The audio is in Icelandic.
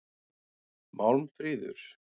Málmfríður